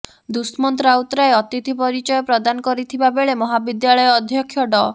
ଦୁଷ୍ମନ୍ତ ରାଉତରାୟ ଅତିଥି ପରିଚୟ ପ୍ରଦାନ କରିଥିବା ବେଳେ ମହାବିଦ୍ୟାଳୟ ଅଧ୍ୟକ୍ଷ ଡ